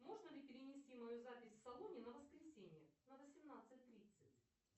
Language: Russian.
можно ли перенести мою запись в салоне на воскресенье на восемнадцать тридцать